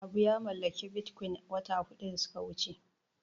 Habu ya mallaki Bitcoin wata huɗu da suka wuce.